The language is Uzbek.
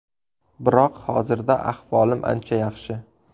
Biroq hozirda ahvolim ancha yaxshi.